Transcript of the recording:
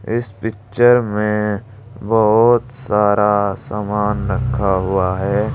इस पिक्चर में बहोत सारा सामान रखा हुआ है।